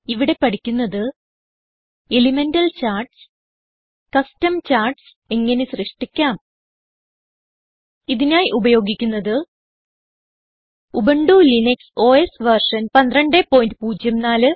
ഇവിടെ പഠിക്കുന്നത് elemental charts custom charts എങ്ങനെ സൃഷ്ടിക്കാം ഇതിനായി ഉപയോഗിക്കുന്നത് ഉബുന്റു ലിനക്സ് ഓസ് വെർഷൻ 1204